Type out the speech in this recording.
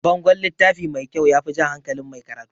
Bangon littafi mai kyau yafi jan hankalin mai karatu